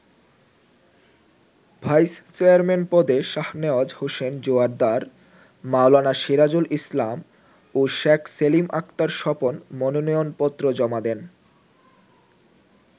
Vice chairman পদে শাহনেওয়াজ হোসেন জোয়ার্দ্দার, মাওলানা সিরাজুল ইসলাম ও শেখ সেলিম আক্তার স্বপন মনোনয়নপত্র জমা দেন।